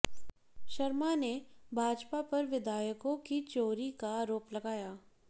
शर्मा ने भाजपा पर विधायकों की चोरी का आरोप लगाया